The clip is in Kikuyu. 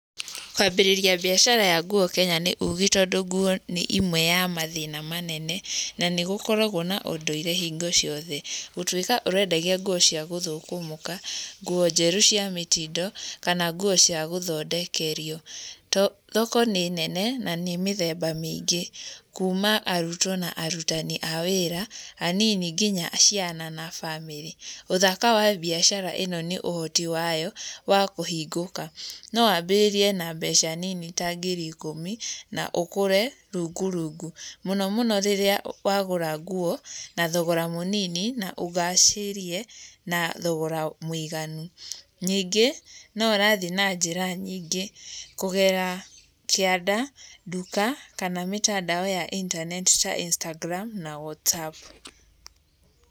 Kwambĩrĩria mbiacara ya nguo Kenya nĩ ũgĩ, tondũ nguo nĩ imwe ya mathĩna manene, na nĩ gũkoragwo na ũndũire hĩngo ciothe. Gũtuĩka ũrĩendagia nguo cia gũthũkũmũka, nguo njerũ cia mĩtindo, kana nguo cia gũthondekerio. Thoko nĩ nene na nĩ mĩthemba mĩingĩ, kuma arutwo na arutani a wĩra, anini nginya ciana na bamĩrĩ. Ũthaka wa mbiacara ĩno nĩ ũhoti wayo wa kũhingũka. No wambĩrĩrie na mbeca nini ta ngiri ikũmi na ũgũre rungurungu, mũno mũno rĩrĩa wagũra nguo na thogora mũnini na ũgacĩrie, na thogora mũiganu. Ningĩ no ũrathiĩ na njĩra nyingĩ kũgerera kĩanda, nduka kana mĩtandao ya intaneti ta Instagram na Whatsapp.